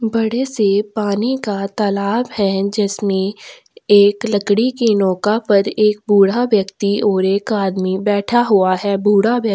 बड़े से पानी का तालाब है जिसमे एक लकड़ी के नौका पर एक बूढ़ा व्यक्ति और एक आदमी बैठा हुआ है बूढ़ा व्यक्ति--